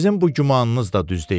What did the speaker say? Sizin bu gümanınız da düz deyil.